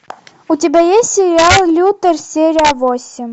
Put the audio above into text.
у тебя есть сериал лютер серия восемь